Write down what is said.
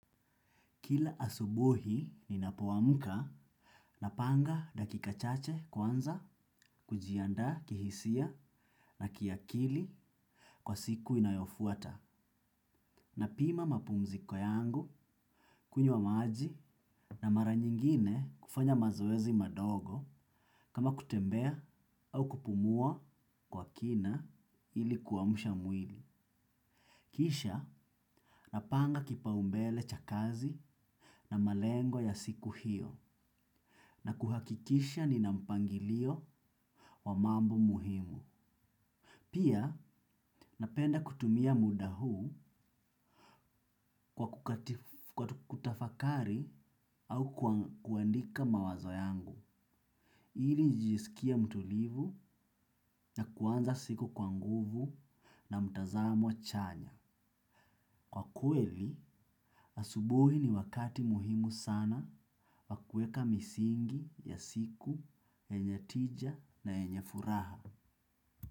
Kila asubuhi ninapo amka na panga dakika chache kwanza kujianda kihisia na kiakili kwa siku inayofuata. Na pima mapumziko yangu, kunywa maji na mara nyingine kufanya mazoezi mandogo kama kutembea au kupumua kwa kina ili kuamsha mwili. Kisha, napanga kipao mbele cha kazi na malengo ya siku hiyo na kuhakikisha nina mpangilio wa mambo muhimu. Pia, napenda kutumia muda huu kwa kutafakari au kuandika mawazo yangu. Ili nijisikie mtulivu na kuanza siku kwa nguvu na mtazamo chanya. Kwa kweli, asubuhi ni wakati muhimu sana wakueka misingi, ya siku yenye tija na yafuraha.